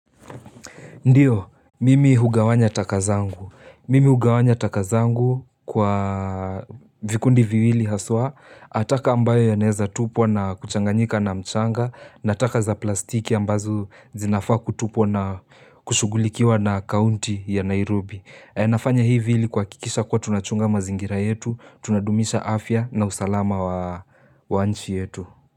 Ndiyo, mimi hugawanya taka zangu. Mimi hugawanya taka zangu kwa vikundi viwili haswa, ataka ambayo yanaeza tupwa na kuchanganyika na mchanga, na taka za plastiki ambazo zinafaa kutupwa na kushugulikiwa na kaunti ya Nairobi. Nafanya hivi ili kuhakikisha kuwa tunachunga mazingira yetu, tunadumisha afya na usalama wa nchi yetu.